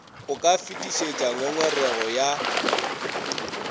o ka fetišetša ngongorego ya